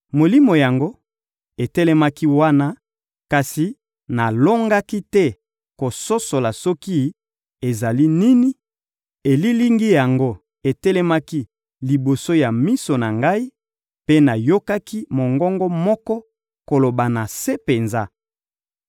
Molimo yango etelemaki wana, kasi nalongaki te kososola soki ezali nini; elilingi yango etelemaki liboso ya miso na ngai, mpe nayokaki mongongo moko koloba na se penza: